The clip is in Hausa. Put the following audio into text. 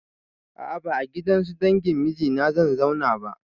A a ba a gidansu dangin mijina zan zauna ba.